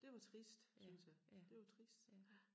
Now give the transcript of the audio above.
Det var trist syntes jeg det var trist ja